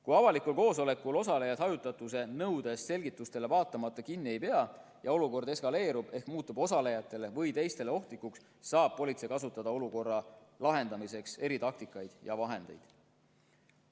Kui avalikul koosolekul osalejad hajutatuse nõudest selgitustele vaatamata kinni ei pea ja olukord eskaleerub ehk muutub osalejatele või teistele ohtlikuks, saab politsei kasutada olukorra lahendamiseks eritaktikaid ja -vahendeid.